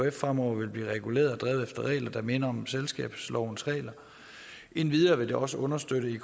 ekf fremover vil blive reguleret og drevet efter regler der minder om selskabslovens regler endvidere vil det også understøtte